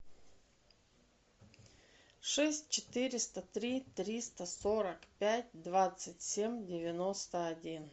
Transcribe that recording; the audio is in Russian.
шесть четыреста три триста сорок пять двадцать семь девяносто один